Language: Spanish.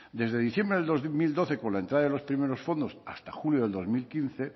desde diciembre de dos mil doce con la entrada de los primeros fondos hasta julio del dos mil quince